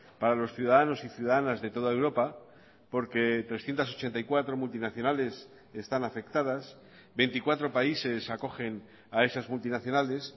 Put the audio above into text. para los ciudadanos y ciudadanas de toda europa porque trescientos ochenta y cuatro multinacionales están afectadas veinticuatro países acogen a esas multinacionales